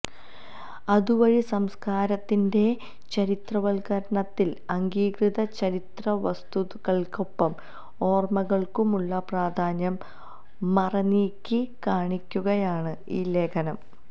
അതുവഴി സംസ്കാരത്തിന്റെ ചരിത്രവൽക്കരണത്തിൽ അംഗീകൃത ചരിത്രവസ്തുതകൾക്കൊപ്പം ഓർമകൾക്കുമുള്ള പ്രാധാന്യം മറനീക്കിക്കാണിക്കുകയാണ് ഈ ലേഖനം